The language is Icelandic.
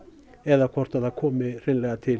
eða hvort það komi hreinlega til